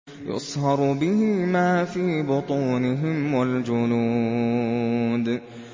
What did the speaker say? يُصْهَرُ بِهِ مَا فِي بُطُونِهِمْ وَالْجُلُودُ